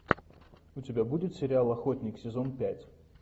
у тебя будет сериал охотник сезон пять